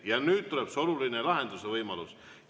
Ja nüüd tuleb see oluline lahenduse võimalus.